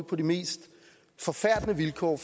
på de mest forfærdelige vilkår